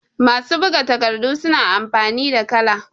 masu buga takardu suna amfani da kala